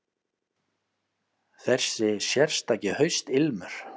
Þessi sérstaki haustilmur.